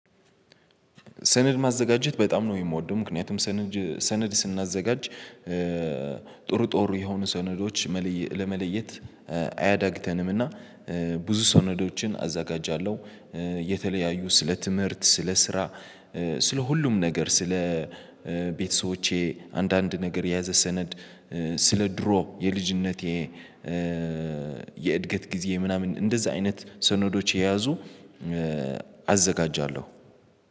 ሰነድ ማዘጋጀት በጣም ነው የምወደው። ምክንያቱም ሰነድ ስናዘጋጅ ጥሩ ጥሩ የሆኑ ሰነዶች ለመለየት አያዳግተንምና ብዙ ሰነዶችን አዘጋጃለሁ። የተለያዩ ስለ ትምህርት ስለ ስራ ስለ ሁሉም ነገር ስለ ቤተሰቦቼ አንዳንድ ነገር የያዘ ሰነድ። ስለ ድሮ የልጅነቴ የእድገት ጊዜ ምናምን እንደዛ አይነት ሰነዶች የያዙ አዘጋጃለሁ